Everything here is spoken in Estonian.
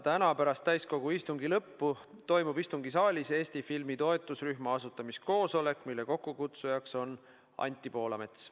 Täna pärast täiskogu istungi lõppu toimub istungisaalis Eesti filmi toetusrühma asutamiskoosolek, mille kokkukutsujaks on Anti Poolamets.